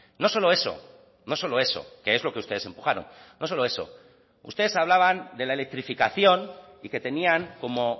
no solo eso no solo eso que es lo que ustedes empujaron no solo eso ustedes hablaban de la electrificación y que tenían como